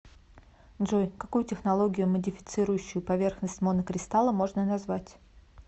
джой какую технологию модифицирующую поверхность монокристалла можно назвать